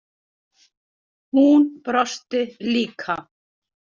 Hún brosti líka.